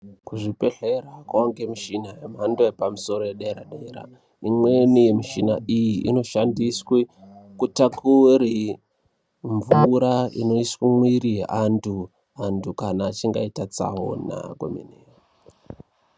Kuzvibhedhlera kwave nemichina yemhando yepamusoro yedera -dera. Imweni yemichina iyi inoshandiswe kutakure mvura inoiswe mumwiri weantu, vantu kana achinge aita tsaona komene.